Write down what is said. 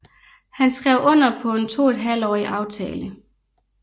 Han skrev under på en toethalvtårig aftale